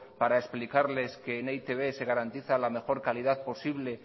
para explicarles que en e i te be se garantiza la mejor calidad posible